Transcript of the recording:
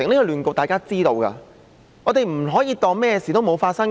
這是大家都知道的，我們不可以當甚麼事都沒有發生。